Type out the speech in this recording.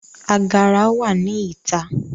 Agara wa ni ita